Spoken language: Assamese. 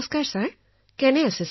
নমস্কাৰ মহোদয় আপুনি কেনে আছে